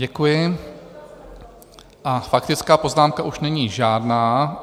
Děkuji a faktická poznámka už není žádná.